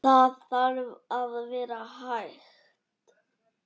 Það þarf að vera hægt.